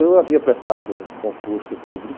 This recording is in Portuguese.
Eu havia prestado um concurso público,